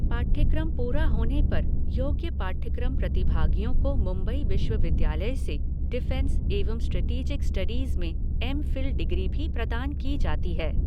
पाठ्यक्रम पूरा होने पर योग्य पाठ्यक्रम प्रतिभागियों को मुंबई विश्वविद्यालय से डिफ़ेंस एवं स्ट्रेटीजिक स्टडीज़ में एम फ़िल डिग्री भी प्रदान की जाती है।